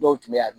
Dɔw tun bɛ yan